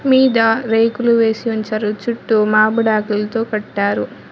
మీద రేకులు వేసి ఉంచారు చుట్టు మామిడాకులు కట్టారు.